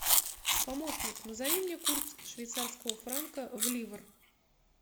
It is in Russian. помощник назови мне курс швейцарского франка в ливр